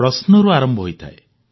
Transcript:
ପ୍ରଶ୍ନରୁ ଆରମ୍ଭ ହୋଇଥାଏ